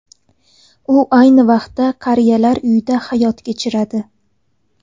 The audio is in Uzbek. U ayni vaqtda qariyalar uyida hayot kechiradi.